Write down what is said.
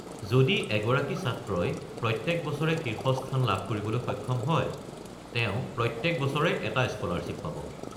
যদি এগৰাকী ছাত্ৰই প্ৰত্যেক বছৰে শীৰ্ষস্থান লাভ কৰিবলৈ সক্ষম হয়, তেওঁ প্ৰত্যেক বছৰে এটা স্কলাৰশ্বিপ পাব।